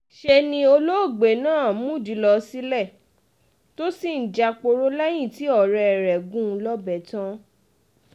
ṣe ni olóògbé náà múdìí lọ sílé tó sì ń jáporo lẹ́yìn tí ọ̀rẹ́ rẹ̀ gún un lọ́bẹ̀ tán